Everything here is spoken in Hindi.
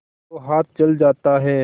तो हाथ जल जाता है